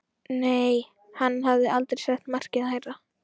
Nei, hann hafði aldrei sett markið hærra.